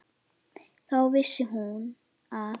Þá vissi hún að